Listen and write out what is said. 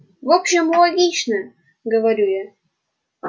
в общем логично говорю я